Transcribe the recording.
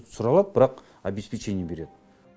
түсіре алады бірақ обеспечение береді